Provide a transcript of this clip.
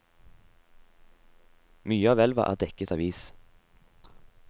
Mye av elva er dekket av is.